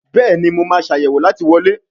Béèni mo ma Ṣàyẹ̀wò láti wọlé.